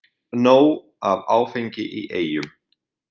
Nóg af áfengi í Eyjum